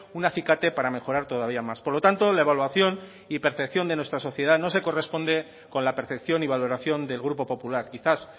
un acicate para mejorar todavía más por lo tanto la evaluación y percepción de nuestra sociedad no se corresponde con la percepción y valoración del grupo popular quizás